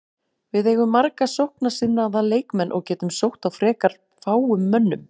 Við eigum marga sóknarsinnaða leikmenn og getum sótt á frekar fáum mönnum.